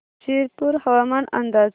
शिरपूर हवामान अंदाज